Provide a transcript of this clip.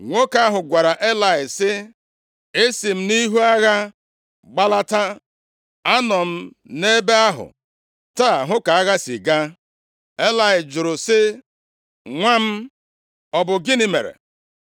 Nwoke ahụ gwara Elayị sị, “Esi m nʼihu agha gbalata. Anọ m nʼebe ahụ taa hụ ka agha si gaa.” Elayị jụrụ sị, “Nwa m, ọ bụ gịnị mere?”